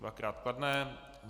Dvakrát kladné.